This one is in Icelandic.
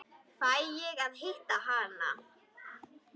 Fæ ég að hitta hana?